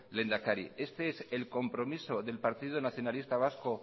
lehendakari este es el compromiso del partido nacionalista vasco